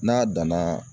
N'a danna